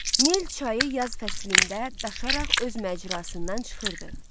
Nil çayı yaz fəslində daşaraq öz məcrasından çıxırdı.